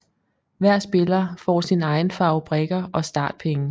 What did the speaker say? Hver spiller får sin egen farve brikker og startpenge